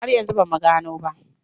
Har yanzu ba mu gano ba.